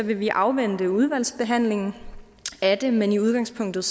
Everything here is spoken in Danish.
vil vi afvente udvalgsbehandlingen af det men i udgangspunktet